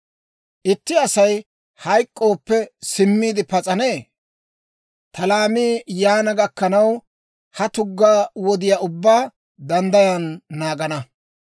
Itti Asay hayk'k'ooppe, simmiide pas'anee? Ta laamii yaana gakkanaw, ha tugga wodiyaa ubbaa danddayan naagana.